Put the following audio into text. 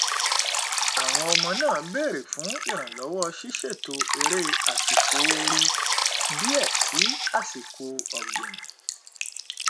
àwọn ọmọ náà bèrè fún ìrànlọwọ ṣíṣètò eré àsìkò ooru díẹ sí àsìkò ọgbìn